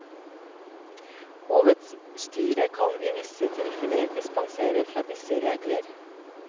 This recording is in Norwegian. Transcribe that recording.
Hovedstyret kan i visse tilfeller dispensere fra disse regler.